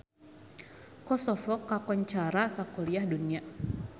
Kosovo kakoncara sakuliah dunya